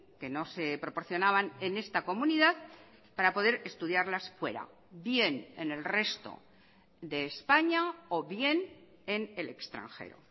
que no se proporcionaban en esta comunidad para poder estudiarlas fuera bien en el resto de españa o bien en el extranjero